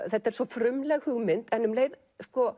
þetta er svo frumleg hugmynd en um leið